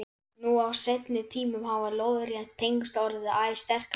Nú á seinni tímum hafa lóðrétt tengsl orðið æ sterkari.